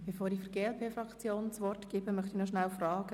Bevor ich der glp-Fraktion das Wort erteile, möchte ich kurz nachfragen: